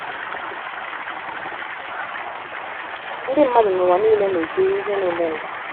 Ndị mmadụ n’ụwa nile na - ekiri ihe na - emenụ.